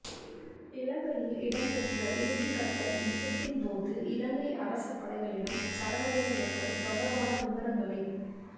இலங்கையில் இடம்பெற்ற இறுதிக்கட்ட யுத்தத்தின்போது இலங்கை அரச படைகளிடம் சரணடைந்தவர்கள் தொடர்பான விபரங்களை